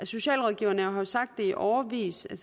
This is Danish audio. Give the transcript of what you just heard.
socialrådgiverne har jo sagt i årevis at